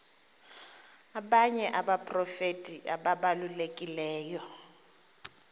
abanye abaprofeti ababalulekileyo